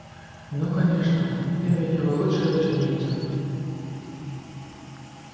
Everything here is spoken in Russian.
ну конечно ты ведь его лучшая ученица